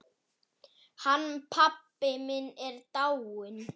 Hann pabbi minn er dáinn.